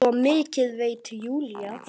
Svo mikið veit Júlía.